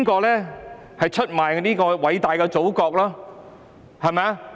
誰人出賣了偉大的祖國？